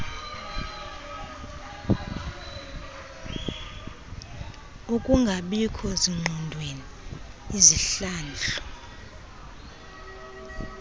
ukungabikho zingqondweni izihlandlo